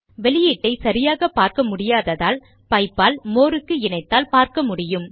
output ஐ சரியாக பார்க்க முடியாததால் பைப் ஆல் மோர் க்கு இணைத்தால் பார்க்க முடியும்